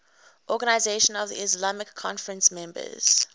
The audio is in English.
organisation of the islamic conference members